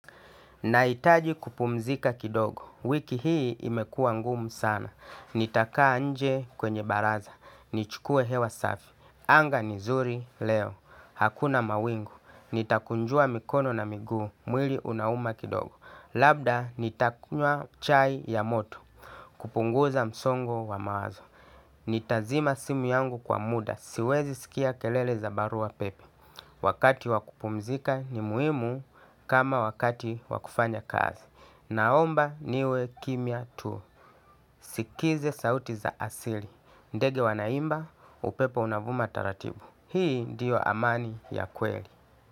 Nahitaji kupumzika kidogo. Wiki hii imekua ngumu sana. Nitakaa nje kwenye baraza. Nichukue hewa safi. Anga ni nzuri leo. Hakuna mawingu. Nitakunjua mikono na migu. Mwili unauma kidogo. Labda nitakunywa chai ya moto. Kupunguza msongo wa mawazo. Nitazima simu yangu kwa muda. Siwezi sikia kelele za barua pepe. Wakati wa kupumzika ni muhimu kama wakati wa kufanya kazi. Naomba niwe kimya tu. Sikize sauti za asili. Ndege wanaimba, upepo unavuma taratibu. Hii ndiyo amani ya kweli.